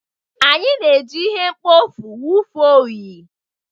Anyị na-eji ihe mkpofu wụfuo unyi.